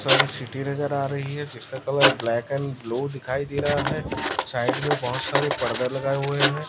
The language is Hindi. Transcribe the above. सारी सिटी नजर आ रही है जिसका कलर ब्लैक एंड ब्लू दिखाई दे रहा है साइड में बहोत सारे पर्दा लगाए हुए--